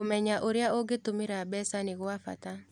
Kũmenya ũrĩa ũngĩtũmĩra mbeca nĩ gwa bata.